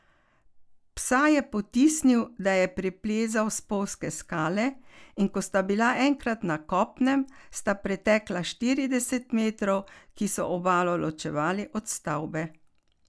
Psa je potisnil, da je preplezal spolzke skale, in ko sta bila enkrat na kopnem, sta pretekla štirideset metrov, ki so obalo ločevali od stavbe.